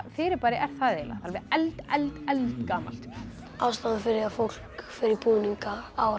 fyrirbæri er það eiginlega alveg eld eld eldgamalt ástæðan fyrir því að fólk fer í búninga á